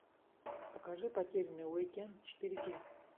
покажи потерянный уик энд четыре кей